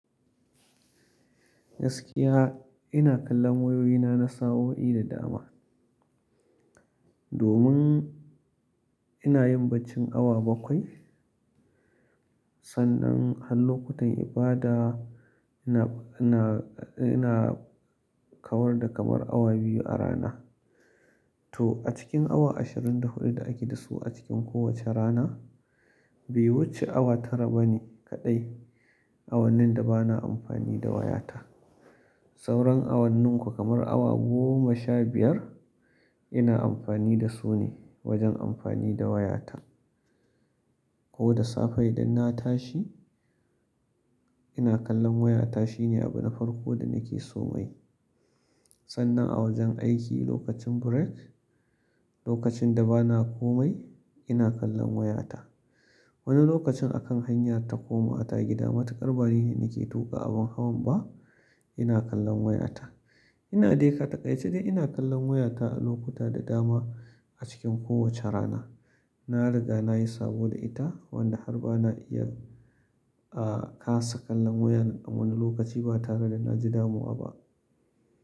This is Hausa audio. Gaskiya ina kallon wayoyina na sa'o'i da dama. Domin ina yin baccin awa bakwai. Sannan a lokutan ibada ina, ina, ina kawar da kamar awa biyu a rana. To a cikin awa ashirin da hudu da ake da su a cikin kowace rana, bai wuce awa tara bane kaɗai, awannin da bana amfani da wayata. Sauran awannin ko kamar awa goma sha biyar ina amfani da su ne wajen amfani da wayata. Ko da safe idan na tashi ina kallon wayata shine abu na farko da nake so mayi. Sannan a wajen aiki lokacin break, lokacin da bana komai ina kallon wayata. Wani lokacin a kan hanya ta koma ta gida matukar bari ne nake tuka abin hawan ba ina kallon wayata. Ina dai a taƙaice dai ina kallon wayata a lokuta da dama a cikin kowace rana. Na riga nayi sabo da ita wanda har ba na iya, ah kasa kallon wayan a wani lokaci ba tare da na ji damuwa ba.